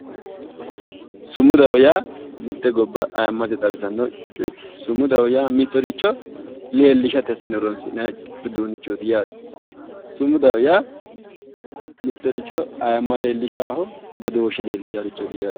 Sumudaho yaa mitte gobba xawisanno sicootti sumudaho yaa mittoricho leellishate horoonsi'neemmorichootti sumudaho yaa aayimma xawinsannirichootti